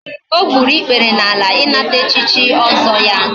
o gburu ikpere n'ala inata echichi ozo ya